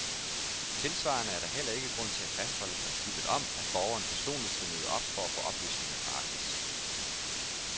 Tilsvarende er der heller ikke grund til at fastholde princippet om, at borgeren personligt skal møde op for at få oplysninger gratis.